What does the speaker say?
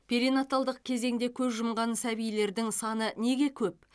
перинаталдық кезеңде көз жұмған сәбилердің саны неге көп